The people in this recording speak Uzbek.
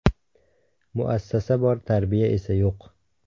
Muassasa bor, tarbiya esa yo‘q.